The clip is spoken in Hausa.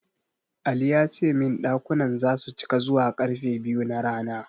Ali ya ce min ɗakunan zasu cika zuwa ƙarfe biyu na rana.